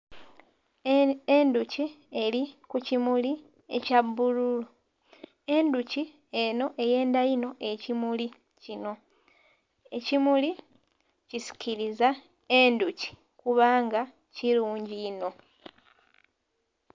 Endhuki eli ku kimuli ekya bbululu. Endhuki enho eyendha inho ekimuli kino. Ekimuli kisikiliza endhuki kubanga kilungi inho.